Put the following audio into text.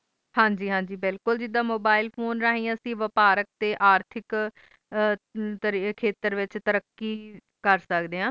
ਹਨ ਗ ਹਨ ਗ ਬਿਲਕੁਲ ਜਿੰਦਾਂ mobile phone ਰਹੀਆਂ ਅਸੀਂ ਵਪਾਰਕ ਤੇ ਆਰਥਿਕ ਚੇਤਰ ਵਿਚ ਤੈਰਾਕੀ ਕਰ ਸਕਦੇ ਆਂ